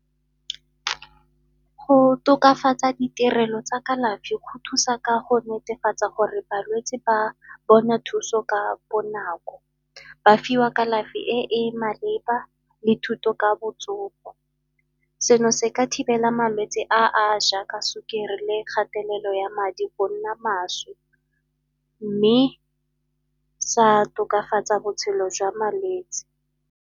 Go tokafatsa ditirelo tsa kalafi go thusa ka go netefatsa gore balwetsi ba bona thuso ka bonako, ba fiwa kalafi e e maleba le thuto ka botsogo. Seno se ka thibela malwetsi a a jaaka sukiri le kgatelelo ya madi go nna mašwi mme sa tokafatsa botshelo jwa malwetsi.